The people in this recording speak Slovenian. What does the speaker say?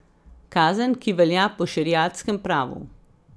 Kazen, ki velja po šeriatskem pravu.